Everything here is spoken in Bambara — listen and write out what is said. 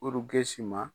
Ɔruke si ma